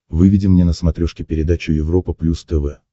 выведи мне на смотрешке передачу европа плюс тв